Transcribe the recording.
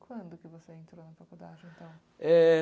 Quando que você entrou na faculdade, então? É...